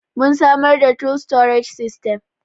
mun samar da tool storage system